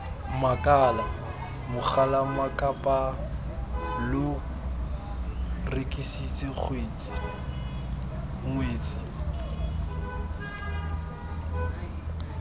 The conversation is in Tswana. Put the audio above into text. makala mogalammakapaa lo rekisitse ngwetsi